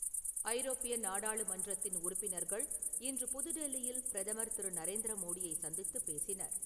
ஐரோப்பிய நாடாளுமன்றத்தின் உறுப்பினர்கள் இன்று புது டெல்லியில் பிரதமர் திரு. நரேந்திர மோடியை சந்தித்துப் பேசினர்.